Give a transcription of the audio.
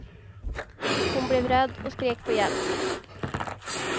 Hon blev rädd och skrek på hjälp.